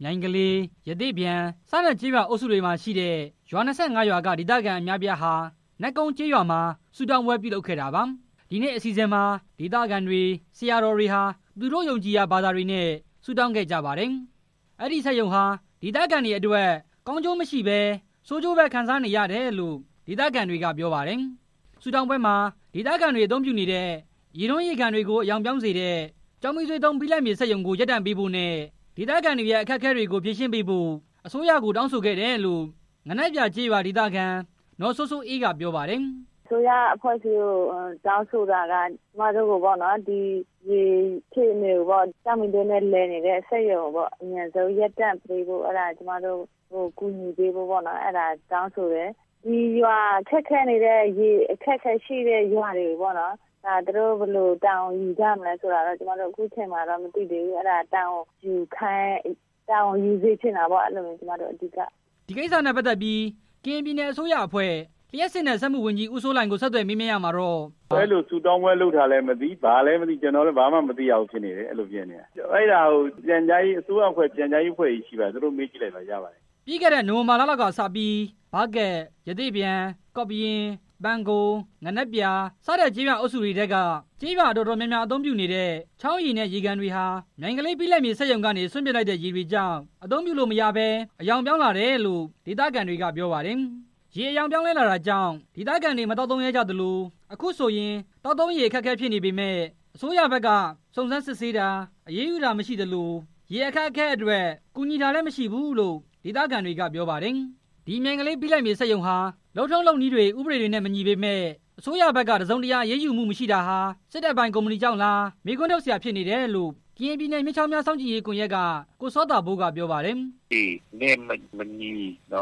မြိုင်ကလေး၊ ရသေ့ပျံ စတဲ့ကျေးရွာအုပ်စုတွေမှာရှိတဲ့ ရွာ ၂၇ ရွာက ဒေသခံအများအပြားဟာ နတ်ကုန်းကျေးရွာမှာ ဆုတောင်းပွဲပြုလုပ်ခဲ့တာပါ။ ဒီနေ့ အစီအစဉ်မှာ ဒေသခံတွေ၊ ဆရာတော်တွေဟာ သူတို့ယုံကြည်ရာ ဘာသာတွေနဲ့ ဆုတောင်းခဲ့ကြပါတယ်။ ဒီစက်ရုံဟာ ဒေသခံတွေအတွက် ကောင်းကျိုးမရှိဘဲ ဆိုးကျိုးပဲ ခံစားနေရတယ်လို့ ဒေသခံတွေက ပြောပါတယ်။ ဆုတောင်းပွဲမှာ ဒေသခံတွေ အသုံးပြုနေတဲ့ ရေတွင်း၊ ရေကန်တွေကို အရောင်ပြောင်းစေတဲ့ ကျောက်မီးသွေးသုံး ဘိလပ်မြေစက်ရုံကို ရပ်တန့်ပေးဖို့နဲ့ ဒေသခံတွေရဲ့ အခက်အခဲတွေကို ဖြေရှင်းပေးဖို့ အစိုးရကို တောင်းဆိုခဲ့တယ်လို့ ငနက်ပြာကျေးရွာခံ နော်စိုးစိုးအေးက ပြောပါတယ်။ “အစိုးရအဖွဲ့အစည်းကို တောင်းဆိုတာက ကျမတို့ကို ဒီရေအဖြစ်ပြောင်းစေတဲ့ ကျောက်မီးသွေးနဲ့ လည်နေတဲ့စက်ရုံကို အမြန်ဆုံးရပ်တန့်ပေးဖို့ ကျမတို့ကို ကူညီပေးဖို့တောင်းဆိုတယ်၊ ရေအခက်အခဲရှိနေတဲ့ ရွာတွေကို သူတို့ ဘယ်လိုတာဝန်ယူမလဲဆိုတာ ခုချိန်မှာမသိပေမယ့် ဒီကိစ္စကို တာဝန်ယူစေချင်တာပေါ့” ဒီကိစ္စနဲ့ပတ်သက်ပြီး ကရင်ပြည်နယ် အစိုးရအဖွဲ့ လျှပ်စစ်နဲ့စက်မှု ဝန်ကြီး ဦးစိုးလှိုင်ကို ဆက်သွယ်မေးမြန်းရာမှာတော့ - “အဲလိုဆုတောင်းပွဲလုပ်တာ ကျနော်လည်း မသိဘူး၊ ဘာမှလည်း မသိရဘူးဖြစ်နေတယ်၊ အဲဒါကို အစိုးရအဖွဲ့ ပြန်ကြားရေးအဖွဲ့ ဆိုတာရှိပါတယ် သူတို့ကိုမေးကြည့်ပါ” လို့ပြောပါတယ်။ ပြီးခဲ့တဲ့ နိုဝင်ဘာလလောက်ကစပြီး ဘားကပ်၊ ရသေ့ပျံ၊ ကော့ရင်း၊ ပန်းကုံး၊ ငနက်ပြာ စတဲ့ ကျေးရွာအုပ်စုတွေထဲက ကျေးရွာတော်တော်များများ အသုံးပြုနေတဲ့ ချောင်းရေနဲ့ ရေကန်တွေဟာ မြိုင်ကလေး ဘိလပ်မြေစက်ရုံကနေ စွန့်ပစ်လိုက်တဲ့ ရေတွေကြောင့် အသုံးပြုလို့မရဘဲ အရောင်ပြောင်းလာတယ်လို့ ဒေသခံတွေက ပြောပါတယ်။ ရေအရောင် ပြောင်းလဲလာတာကြောင့် ဒေသခံတွေ မသောက်သုံးရဲကြလို့ အခုဆိုရင် သောက်သုံးရေ အခက်အခဲဖြစ်နေပေမယ့် အစိုးရဘက်က စုံစမ်းစစ်ဆေးတာ၊ အရေးယူတာ မရှိသလို ရေအခက်အခဲအတွက် ကူညီတာလည်းမရှိဘူးလို့ ဒေသခံတွေက ပြောပါတယ်။ ဒီမြိုင်ကလေး ဘိလပ်မြေစက်ရုံဟာ လုပ်ထုံးလုပ်နည်းတွေ၊ ဥပဒေတွနဲ့မညီပေမယ့် အစိုးရဘက်က တစ်စုံတစ်ရာအရေးယူမှု မရှိတာဟာ စစ်တပ်ပိုင်ကုမ္ပဏီကြောင့်လား မေးခွန်းထုတ်စရာဖြစ်နေတယ်လို့ ကရင်ပြည်နယ် မြစ်ချောင်းများ စောင့်ကြည့်ရေးကွန်ရက်က ကိုစောသာပိုးက ပြောပါတယ်။ “ဥပဒေနဲ့မညီ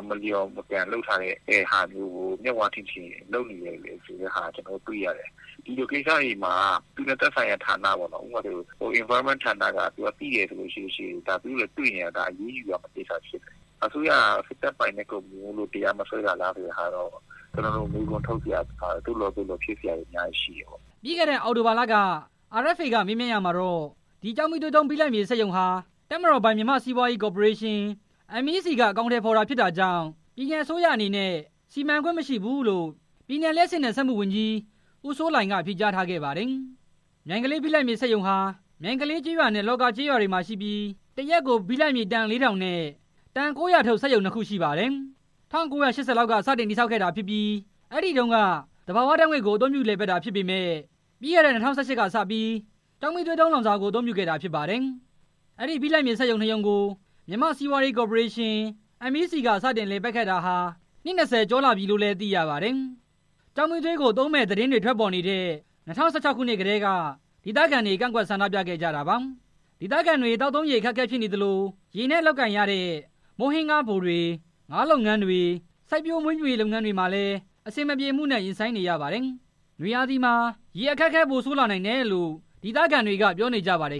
မလျော်ကန်ပဲ လုပ်ထားတဲ့ဟာမျိုးကို မျက်ဝါးထင်ထင် ကျနော်တို့ တွေ့ရတယ်၊ ဒီလိုကိစ္စတွေမှာ သူနဲ့သက်ဆိုင်ရာဌာန ဥပမာ သဘာဝပတ်ဝန်းကျင်ဌာနက သိတယ်ဆိုလို့ရှိရင် အရေးယူရမယ့်ကိစ္စဖြစ်တယ်၊ အစိုးရက စစ်တပ်ပိုင်တဲ့ ကုမ္ပဏီမို့လို့ တရားမစွဲတာဆိုတာလား ဆိုတာကတော့ ကျနော်တို့ မေးခွန်းထုတ်စရာ သို့လောသို့လောဖြစ်စရာတွေ အများကြီးရှိတယ်” ပြီးခဲ့တဲ့နှစ် အောက်တိုဘာလက RFA က မေးမြန်းရာမှာတော့ အဲဒီကျောက်မီးသွေးသုံး ဘိလပ်မြေစက်ရုံဟာ တပ်မတော်ပိုင် မြန်မာ့စီးပွားရေးကော်ပိုရေးရှင်း (MEC) က အကောင်ထည်ဖော်တာဖြစ်တာကြောင့် ပြည်နယ်အစိုးရအနေနဲ့ စီမံခွင့်မရှိထားဘူးလို့ ပြည်နယ် လျှပ်စစ်နဲ့စက်မှု ဝန်ကြီး ဦးစိုးလှိုင်က ဖြေကြားထားခဲ့ပါတယ်။ မြိုင်ကလေး ဘိလပ်မြေစက်ရုံဟာ မြိုင်ကလေးကျေးရွာနဲ့ လှာကာကျေးရွာတွေမှာရှိပြီး တစ်ရက်ကို ဘိလပ်မြေ တန် လေးထောင်နဲ့ တန် ၉၀၀ ထုတ် စက်ရုံ နှစ်ခုရှိပါတယ်။ ၁၉၈၀ လောက်က တည်ဆောက်ခဲ့တာဖြစ်ပြီး အရင်တုန်းက သဘာဝဓာတ်ငွေ့ကို အသုံးပြုလည်ပတ်တာဖြစ်ပေမယ့် ပြီးခဲ့တဲ့ ၂၀၁၈ ခုနှစ်ကစပြီး ကျောက်မီးသွေးလောင်စာကို အသုံးပြုတာဖြစ်ပါတယ်။ အဲဒီ ဘိလပ်မြေစက်ရုံ နှစ်ရုံကို မြန်မာ့စီးပွားရေးကော်ပိုရေးရှင်း MEC က စတင်လည်ပတ်ခဲ့တာဟာ နှစ် ၂၀ ကျော်ကြာပြီလို့လည်း သိရပါတယ်။ ကျောက်မီးသွေးကိုသုံးမယ့် သတင်းတွေထွက်ပေါ်နေတဲ့ ၂၀၁၆ ခုနှစ်ကတည်းက ဒေသခံတွေက ကန့်ကွက်ဆန္ဒပြခဲ့ကြတာပါ။ ဒေသခံတွေ သောက်သုံးရေအခက်အခဲဖြစ်နေသလို ရေနဲ့လုပ်ကိုင်ရတဲ့ မုန့်ဟင်းခါးဖိုတွေ၊ ငါးဖမ်းလုပ်ငန်းတွေ၊ စိုက်ပျိုးမွေးမြူရေး လုပ်ငန်းတွေမှာလည်း အဆင်မပြေမှုနဲ့ ရင်ဆိုင်နေရပါတယ်။ နွေရာသီမှာ ရေအခက်အခဲဟာ ပိုဆိုးနိုင်တယ်လို့ ဒေသခံတွေက ပြောနေကြပါတယ်